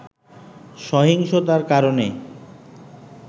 সহিংসতার কারণে